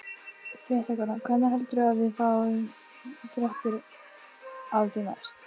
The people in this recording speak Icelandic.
Fréttakona: Hvenær heldurðu að við fáum fréttir af þér næst?